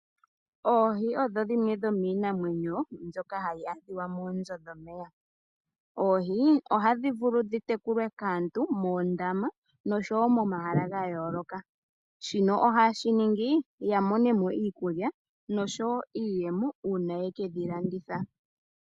Oohi odho dhimwe dhomiinamwenyo ndhoka hadhi adhika moonzo dhomeya. Oohi ohadhi tekulwa kaantu muundama nohadhi vulu oku tekulwa momahala ngayoloka ngena omeya. Oohi aantu ohaye dhi tekula opo yiimonenemo omweelelo nosho woo iimaliwa uuna yekedhilanditha.